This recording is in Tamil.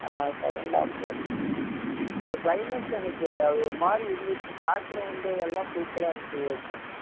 ஆஹ் second half அப்பறம் climax எனக்கு அது ஒரு மாதிரி இருந்துச்சு எல்லாம் super ஆ இருந்துச்சு விவேக்கு